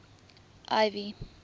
ivy